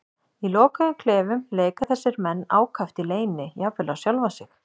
Í lokuðum klefum leika þessir menn ákaft í leyni, jafnvel á sjálfa sig.